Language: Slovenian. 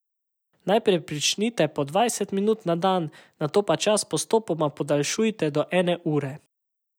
Najprej pričnite po dvajset minut na dan, nato pa čas postopoma podaljšujte do ene ure.